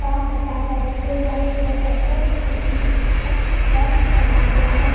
काम बता रहा है जो व्हाइट कलर का शर्ट और ब्लू कलर का पेंट पहना हुआ है।